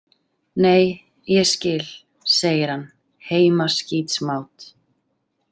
Nei, ég skil, segir hann, heimaskítsmát.